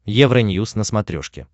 евроньюз на смотрешке